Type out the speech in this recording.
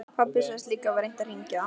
Pabbi sagðist líka hafa reynt að hringja.